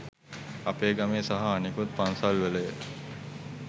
අපේ ගමේ සහ අනෙකුත් පන්සල්වලය.